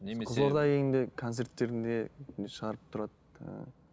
немесе қызылордаға келгенде концерттерінде шығарып тұрады ыыы